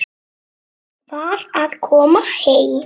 Var að koma heim.